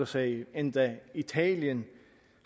sagde det endda italien